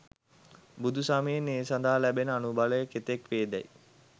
බුදුසමයෙන් ඒ සඳහා ලැබෙන අනුබලය කෙතෙක් වේ දැයි